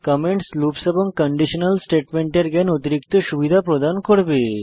comments loops এবং conditional স্টেটমেন্টের জ্ঞান অতিরিক্ত সুবিধা প্রদান করবে